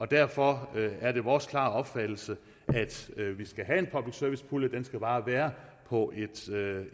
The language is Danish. derfor er det vores klare opfattelse at vi skal have en public service pulje den skal bare være på